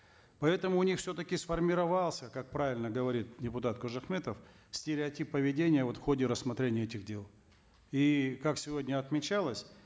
поэтому у них все таки сформировался как правильно говорит депутат кожахметов стереотип поведения вот в ходе рассмотрения этих дел и как сегодня отмечалось